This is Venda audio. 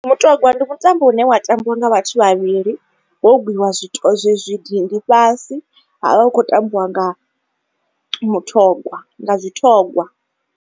Mutogwa ndi mutambo une wa tambiwa nga vhathu vhavhili. Ho gwiwa zwi zwi dindi fhasi ha vha hu khou tambiwa nga muthogwa nga dzithogwa.